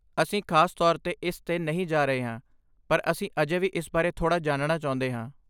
ਅਸੀਂ ਖਾਸ ਤੌਰ 'ਤੇ ਇਸ 'ਤੇ ਨਹੀਂ ਜਾ ਰਹੇ ਹਾਂ, ਪਰ ਅਸੀਂ ਅਜੇ ਵੀ ਇਸ ਬਾਰੇ ਥੋੜ੍ਹਾ ਜਾਣਨਾ ਚਾਹੁੰਦੇ ਹਾਂ।